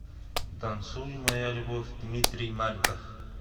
танцуй моя любовь дмитрий маликов